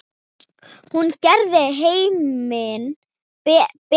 Hún gerði heiminn betri.